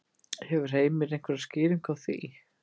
Hefur Heimir einhverja skýringu á því?